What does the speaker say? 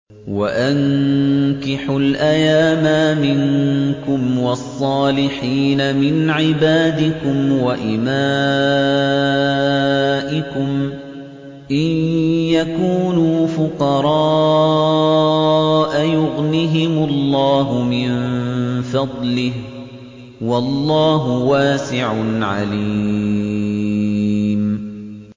وَأَنكِحُوا الْأَيَامَىٰ مِنكُمْ وَالصَّالِحِينَ مِنْ عِبَادِكُمْ وَإِمَائِكُمْ ۚ إِن يَكُونُوا فُقَرَاءَ يُغْنِهِمُ اللَّهُ مِن فَضْلِهِ ۗ وَاللَّهُ وَاسِعٌ عَلِيمٌ